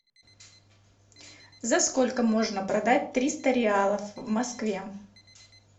за сколько можно продать триста реалов в москве